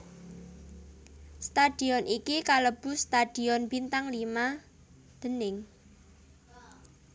Stadion iki kalebu stadion bintang lima déning